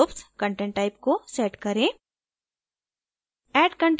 user groups content type को set करें